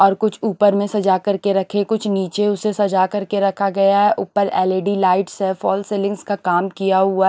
और कुछ ऊपर में सजा करके रखे कुछ नीचे उसे सजा करके रखा गया है ऊपर एल_इ_डी लाइट्स है फॉल सीलिंग का काम किया हुआ--